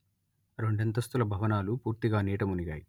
రెండస్తుల భవనాలు పూర్తిగా నీట మునిగాయి